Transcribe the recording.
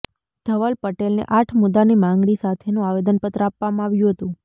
ધવલ પટેલને આઠ મુદ્દાની માંગણી સાથેનું આવેદનપત્ર આપવામાં આવ્યું હતું